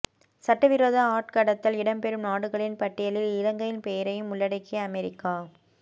சட்டவிரோத ஆட்கடத்தல் இடம்பெறும் நாடுகளின் பட்டியலில் இலங்கையின் பெயரையும் உள்ளடக்கிய அமெரிக்கா